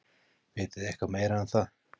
Vitið þið eitthvað meira um það?